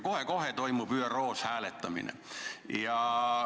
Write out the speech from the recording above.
Kohe-kohe toimub ÜRO-s hääletamine.